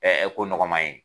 ko nɔgɔnma ye.